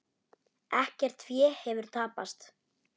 Ekkert fé hefur tapast.